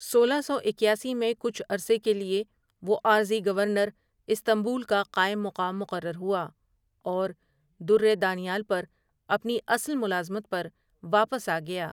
سولہ سو اکیاسی میں کچھ عرصے کے لیے وہ عارضی گورنر استنبول کا قائم مقام مقرر ہوا اور درِ دانیال پر اپنی اصل ملازمت پر واپس آگیا ۔